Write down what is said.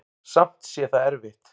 Samt sé það erfitt.